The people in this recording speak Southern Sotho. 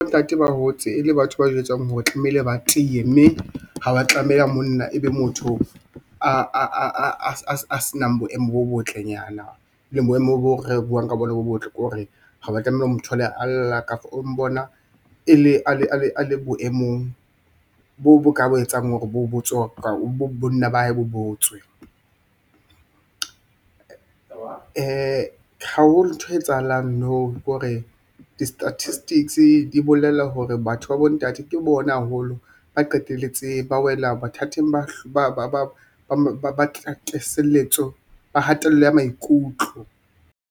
Bontate ba hotse e le batho ba jwetsang hore tlamehile ba tiye, mme ha wa tlamela monna e be motho a se nang boemo bo botlenyana e leng boemo boo re buwang ka bona bo botle, ke hore ha wa tlameha o mo thole a lla ka for o mbona a le boemong bo bo ka etsang hore bonna ba hae botswe. Haholo ntho e etsahalang now kore di-statistics di bolela hore batho ba bontate ke bona haholo, ba qetelletse ba wela mathateng a hatello ya maikutlo.